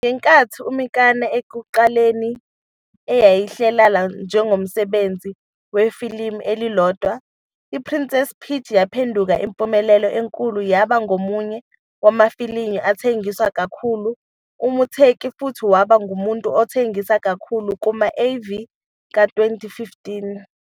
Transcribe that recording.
Ngenkathi uMikami ekuqaleni eyihlelela njengomsebenzi wefilimu elilodwa, iPrincess Peach yaphenduka impumelelo enkulu, yaba ngomunye wamafilimu athengiswa kakhulu uMuteki futhi waba ngumuntu othengisa kakhulu kuma-AV ka-2015.